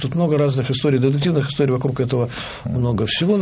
тут много разных историй детективных историй вокруг этого много всего